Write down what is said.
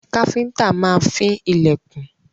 Káfíńńtà máa fín ilẹ̀kùn.